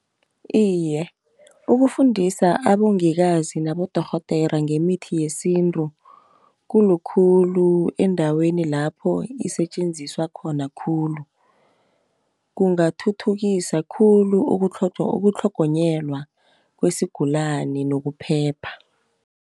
Iye ukufundisa abongikazi nabodorhodera ngemithi yesintru, khulukhulu endaweni lapho isetjenziswa khona khulu. Kungathuthukisa khulu ukutlhogonyelwa kwesigulani nokuphepha.